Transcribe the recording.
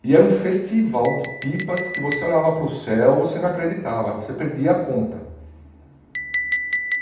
E era um festival de pipas que você olhava para o céu, você não acreditava, você perdia a conta.